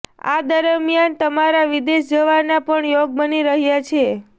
આ દરમિયાન તમારા વિદેશ જવાના પણ યોગ બની રહ્યા છે